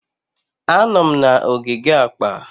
Anọ m na ogige akpa.